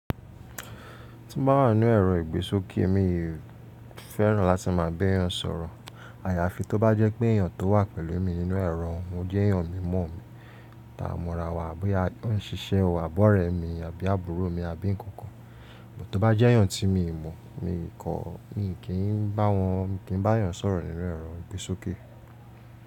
Tí bá wà nínú ẹ̀rọ ìgbésókè èmi fẹ́ràn láti máa béèyàn sọ̀rọ̀. Àyàfi tó bá jẹ́ pé èèyàn tó wà pẹ̀lú mi nínú ẹ̀rọ jẹ́ èèyàn mímọ̀ mi, ta mọ ra wa, bóyá ó ń ṣiṣẹ́ o abọ́rẹ̀ mi àbí àbúrò mi àbí ǹkan kan. To bá jẹ́ èèyàn tí mi mọ̀, mi kò, mi kì í bá wọn, mi kì í bá èèyàn sọ̀rọ̀ nínú ẹ̀rọ ìgbésókè.